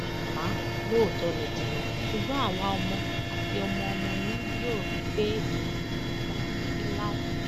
màmá lóòótọ lẹ ti lọ ṣùgbọn àwa ọmọ àti ọmọọmọ yín yóò rí i pé ìrántí yín wà títí láé